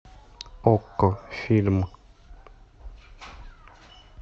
окко фильм